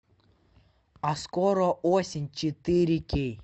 а скоро осень четыре кей